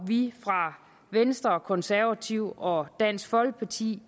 vi fra venstre konservative og dansk folkepartis